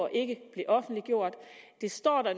ikke blev offentliggjort det står der